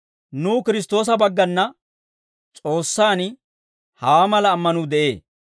Nuw Kiristtoosa baggana S'oossaan hawaa mala ammanuu de'ee.